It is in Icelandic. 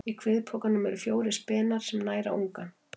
Í kviðpokanum eru fjórir spenar sem næra ungann.